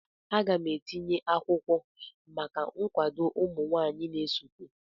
Aga m etinye akwụkwọ maka nkwado ụmụ nwanyị na-esote.